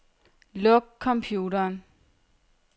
Luk computeren.